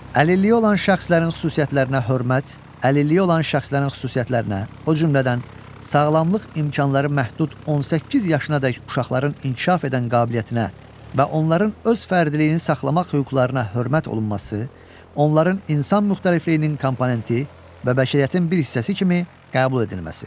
Əlilliyi olan şəxslərin xüsusiyyətinə hörmət, əlilliyi olan şəxslərin xüsusiyyətinə, o cümlədən sağlamlıq imkanları məhdud 18 yaşınadək uşaqların inkişaf edən qabiliyyətinə və onların öz fərdiliyini saxlamaq hüquqlarına hörmət olunması, onların insan müxtəlifliyinin komponenti və bəşəriyyətin bir hissəsi kimi qəbul edilməsi.